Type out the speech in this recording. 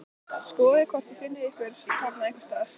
Skoðið hvort þið finnið ykkur þarna einhvers staðar